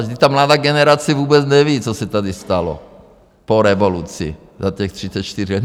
Vždyť ta mladá generace vůbec neví, co se tady stalo po revoluci za těch 34 let.